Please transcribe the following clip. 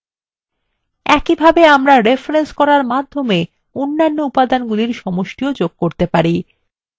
একইভাবে আমরা রেফরেন্স করার মাধ্যমে অন্য উপাদানগুলির সমষ্টিof যোগ করতে পারি